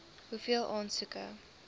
hoeveel aansoeke